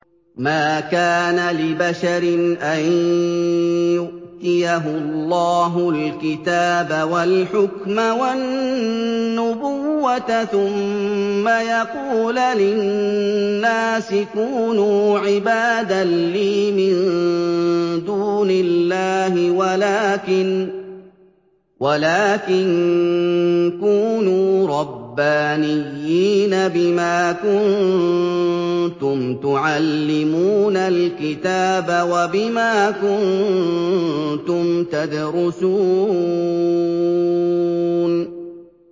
مَا كَانَ لِبَشَرٍ أَن يُؤْتِيَهُ اللَّهُ الْكِتَابَ وَالْحُكْمَ وَالنُّبُوَّةَ ثُمَّ يَقُولَ لِلنَّاسِ كُونُوا عِبَادًا لِّي مِن دُونِ اللَّهِ وَلَٰكِن كُونُوا رَبَّانِيِّينَ بِمَا كُنتُمْ تُعَلِّمُونَ الْكِتَابَ وَبِمَا كُنتُمْ تَدْرُسُونَ